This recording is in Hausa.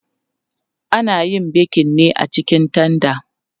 Ana yin bekin ne a cikin tanda.